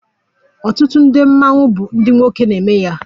Ọtụtụ ndị mmanwụ bụ ndị nwoke na-eme ya